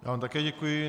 Já vám také děkuji.